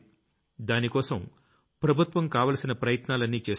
దానికోసం ప్రభుత్వం కావాల్సిన ప్రయత్నాలన్నీ చేస్తోంది